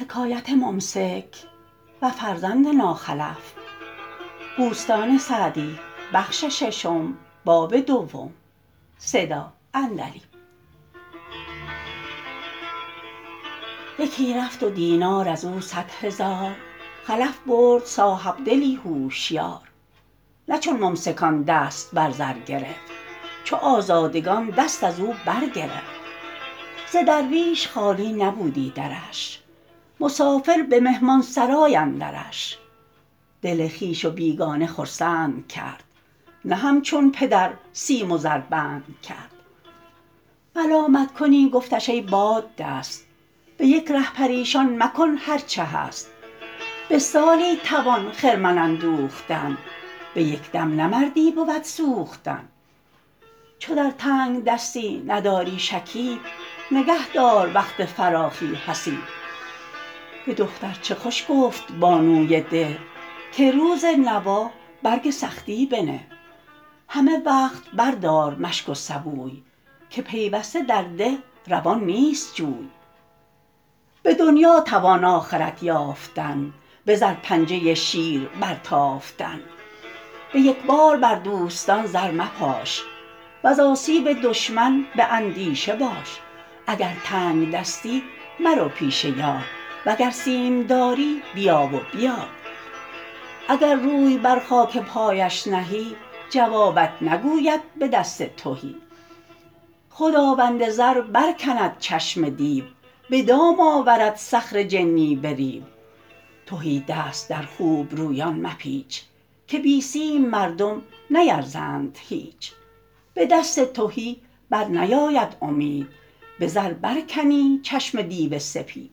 یکی رفت و دینار از او صد هزار خلف برد صاحبدلی هوشیار نه چون ممسکان دست بر زر گرفت چو آزادگان دست از او بر گرفت ز درویش خالی نبودی درش مسافر به مهمانسرای اندرش دل خویش و بیگانه خرسند کرد نه همچون پدر سیم و زر بند کرد ملامت کنی گفتش ای باددست به یک ره پریشان مکن هر چه هست به سالی توان خرمن اندوختن به یک دم نه مردی بود سوختن چو در تنگدستی نداری شکیب نگه دار وقت فراخی حسیب به دختر چه خوش گفت بانوی ده که روز نوا برگ سختی بنه همه وقت بر دار مشک و سبوی که پیوسته در ده روان نیست جوی به دنیا توان آخرت یافتن به زر پنجه شیر بر تافتن به یک بار بر دوستان زر مپاش وز آسیب دشمن به اندیشه باش اگر تنگدستی مرو پیش یار وگر سیم داری بیا و بیار اگر روی بر خاک پایش نهی جوابت نگوید به دست تهی خداوند زر بر کند چشم دیو به دام آورد صخر جنی به ریو تهی دست در خوبرویان مپیچ که بی سیم مردم نیرزند هیچ به دست تهی بر نیاید امید به زر برکنی چشم دیو سپید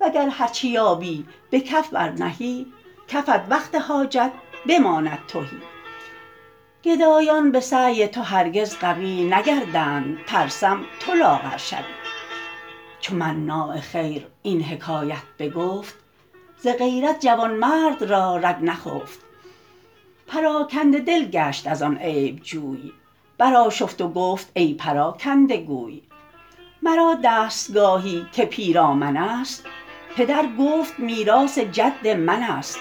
وگر هرچه یابی به کف بر نهی کفت وقت حاجت بماند تهی گدایان به سعی تو هرگز قوی نگردند ترسم تو لاغر شوی چو مناع خیر این حکایت بگفت ز غیرت جوانمرد را رگ نخفت پراکنده دل گشت از آن عیب جوی بر آشفت و گفت ای پراکنده گوی مرا دستگاهی که پیرامن است پدر گفت میراث جد من است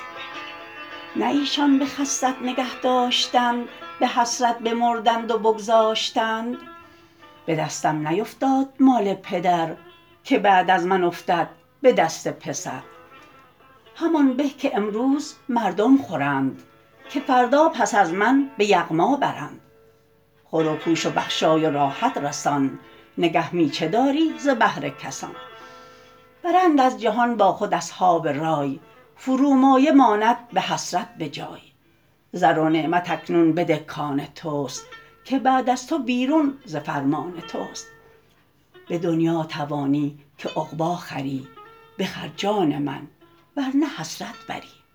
نه ایشان به خست نگه داشتند به حسرت بمردند و بگذاشتند به دستم نیفتاد مال پدر که بعد از من افتد به دست پسر همان به که امروز مردم خورند که فردا پس از من به یغما برند خور و پوش و بخشای و راحت رسان نگه می چه داری ز بهر کسان برند از جهان با خود اصحاب رای فرومایه ماند به حسرت بجای زر و نعمت اکنون بده کآن توست که بعد از تو بیرون ز فرمان توست به دنیا توانی که عقبی خری بخر جان من ور نه حسرت بری